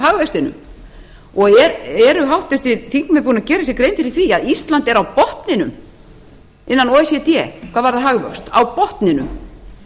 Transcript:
ná upp hagvextinum og eru háttvirtir þingmenn búnir að gera sér grein fyrir því að ísland er á botninum innan o e c d hvað varðar hagvöxt á botninum